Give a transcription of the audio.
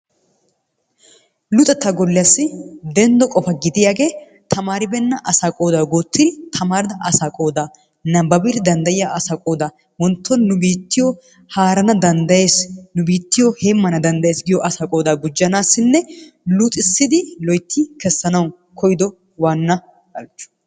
Luxettaa golliyaassi denddo qopa gidiyaagee tamaaribeenna asaa qoodaa guuttidi tamaarida asaa qoodaa nabbabidi dandayiya asaa qoodaa wontto nu biittiyo haarana dandayees. Nu biittiyo heemmana dandayes giyo asaa qoodaa gujjanaassinne luxissidi loyitti kessanawu koyido waanna halchcho.